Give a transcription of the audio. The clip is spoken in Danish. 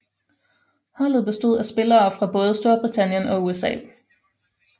Holdet bestod af spillere fra både Storbritannien og USA